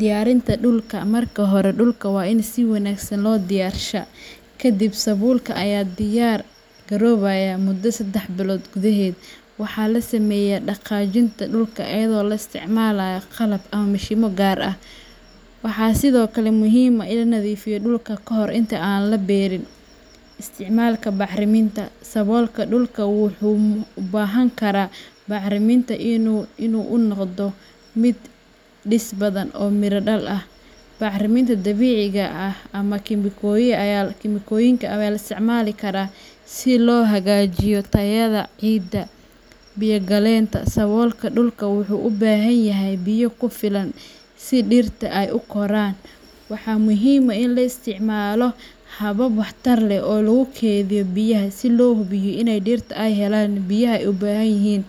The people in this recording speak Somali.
Diyaarinta Dhulka, Marka hore, dhulka waa in si wanaagsan loo diyaarshaa. Kadib sabulka ayaa diyar garobayuaaa mudo sedex bilod gudaxed. Waxaa la sameeyaa dhaqaajinta dhulka iyadoo la isticmaalo qalab ama mashiinno gaar ah. Waxaa sidoo kale muhiim ah in la nadiifiyo dhulka ka hor inta aan la beerin. Isticmaalka Bacriminta, Saboolka dhulka wuxuu u baahan karaa bacriminta si uu u noqdo mid dhis badan oo miro dhal ah. Bacriminta dabiiciga ah ama kiimikooyin ayaa loo isticmaali karaa si loo hagaajiyo tayada ciidda. Biyo gelinta, Saboolka dhulka wuxuu u baahan yahay biyo ku filan si dhirta ay u koraan. Waxaa muhiim ah in la isticmaalo habab waxtar leh oo lagu keydiyo biyaha si loo hubiyo in dhirta ay helaan biyaha ay u baahan yihiin.